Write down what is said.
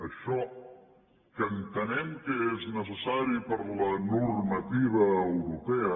això que entenem que és necessari per la normativa europea